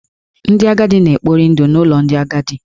Ndị agadi na-ekpori ndụ n’ụlọ ndị agadi.